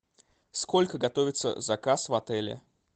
сколько готовится заказ в отеле